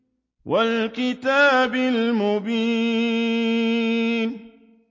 وَالْكِتَابِ الْمُبِينِ